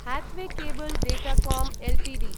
Hathway Cable Datacom Ltd